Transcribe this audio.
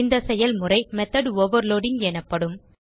இந்த செயல்முறைmethod ஓவர்லோடிங் எனப்படும்